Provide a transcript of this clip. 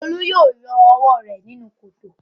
Olú yóò yọ ọwọ́ rẹ̀ nínú kòtò.